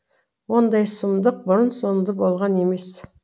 ондай сұмдық бұрын соңды болған емес